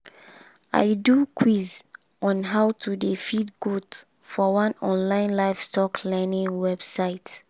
i do quiz on how to dey feed goat for one online livestock learning website.